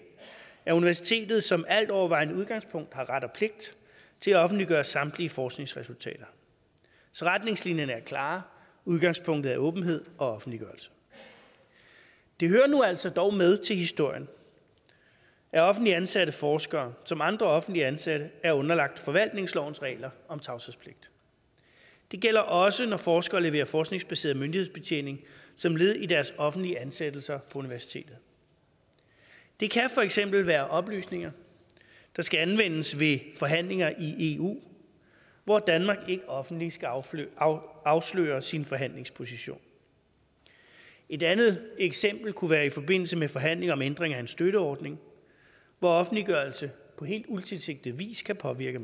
universitetet som altovervejende udgangspunkt har ret og pligt til at offentliggøre samtlige forskningsresultater så retningslinjerne er klare udgangspunktet er åbenhed og offentliggørelse det hører nu altså dog med til historien at offentligt ansatte forskere som andre offentligt ansatte er underlagt forvaltningslovens regler om tavshedspligt og det gælder også når forskere leverer forskningsbaseret myndighedsbetjening som led i deres offentlige ansættelser på universitetet det kan for eksempel være oplysninger der skal anvendes ved forhandlinger i eu hvor danmark ikke offentligt skal afsløre afsløre sin forhandlingsposition et andet eksempel kunne være i forbindelse med forhandlinger om ændring af en støtteordning hvor offentliggørelse på helt utilsigtet vi kan påvirke